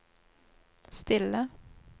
stille